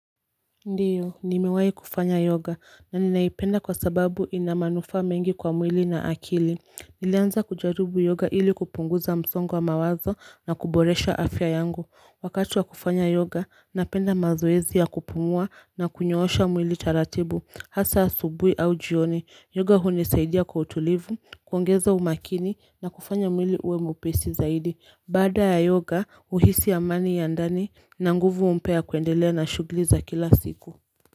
Ndio, nimewai kufanya yoga na ninaipenda kwa sababu inamanufaa mengi kwa mwili na akili Nilianza kujaribu yoga ili kupunguza msongo wa mawazo na kuboresha afya yangu Wakati wa kufanya yoga, napenda mazoezi ya kupumua na kunyoosha mwili taratibu Hasa asubuhi au jioni, yoga huni saidia kwa utulivu, kuongeza umakini na kufanya mwili uwe mwepesi zaidi Bada ya yoga huhisi amani ya ndani na nguvu mpya kuendelea na shughuli za kila siku.